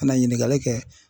Ka na ɲininkali kɛ